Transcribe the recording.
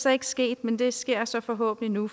er ikke sket men det sker så forhåbentlig nu